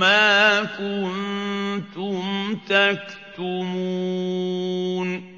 مَّا كُنتُمْ تَكْتُمُونَ